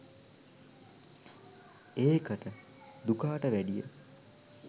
ඒකට දුකාට වැඩිය